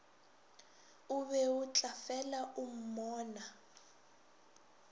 o beo tlafela o mmonaa